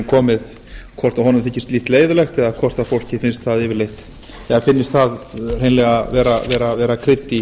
komið hvort honum þykir slíkt leyfilegt eða hvort fólki finnst það yfirleitt vera krydd í